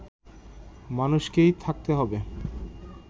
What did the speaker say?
মানুষকে থাকতে হবে